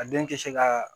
A den tɛ se ka